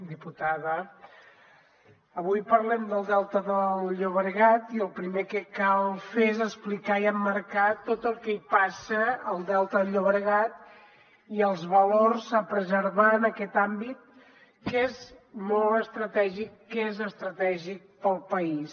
diputada avui parlem del delta del llobregat i el primer que cal fer és explicar i emmarcar tot el que hi passa al delta del llobregat i els valors a preservar en aquest àmbit que és molt estratègic que és estratègic per al país